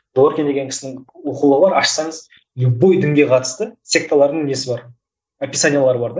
дворкин деген кісінің оқулығы бар ашсаңыз любой дінге қатысты секталардың несі бар описаниелері бар да